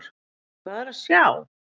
Hvað er að sjá!